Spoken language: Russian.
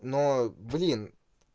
но блин